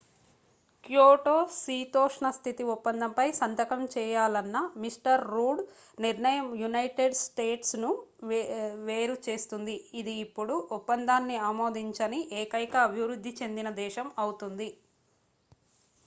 Kyoto శీతోష్ణస్థితి ఒప్పందంపై సంతకం చేయాలన్న మిస్టర్ రూడ్ నిర్ణయం యునైటెడ్ స్టేట్స్ ను వేరుచేస్తుంది ఇది ఇప్పుడు ఒప్పందాన్ని ఆమోదించని ఏకైక అభివృద్ధి చెందిన దేశం అవుతుంది